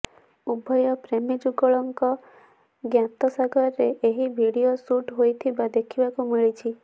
ଉଭୟ ପ୍ରେମୀଯୁଗଳଙ୍କ ଜ୍ଞାତସାରରେ ଏହି ଭିଡିଓ ସୁଟ୍ ହୋଇଥିବା ଦେଖିବାକୁ ମିଳିଛି